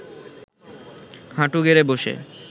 হাঁটু গেড়ে বসে